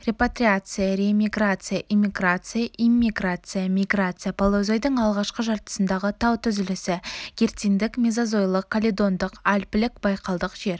репатриация реэмиграция эмиграция иммиграция миграция палеозойдың алғашқы жартысындағы тау түзілісі герциндік мезозойлық каледондық альпілік байкалдық жер